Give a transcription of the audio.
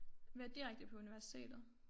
Jeg vil direkte på universitetet